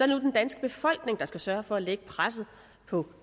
nu den danske befolkning der skal sørge for at lægge pres på